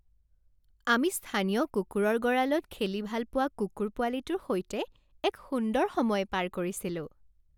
আমি স্থানীয় কুকুৰৰ গঁৰালত খেলি ভাল পোৱা কুকুৰ পোৱালিটোৰ সৈতে এক সুন্দৰ সময় পাৰ কৰিছিলোঁ।